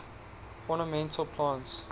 ornamental plants